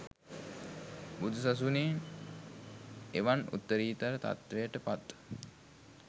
බුදුසසුනේ එවන් උත්තරීතර තත්ත්වයට පත්